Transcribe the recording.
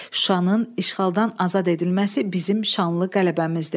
Şuşanın işğaldan azad edilməsi bizim şanlı qələbəmizdir.